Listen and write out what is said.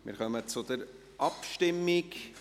Wir kommen zur Abstimmung.